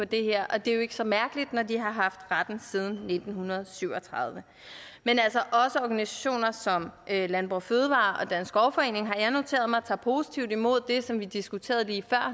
det her og det er jo ikke så mærkeligt når de har haft retten siden nitten syv og tredive men altså også organisationer som landbrug og fødevarer og dansk skovforening har jeg noteret mig tager positivt imod det som vi diskuterede lige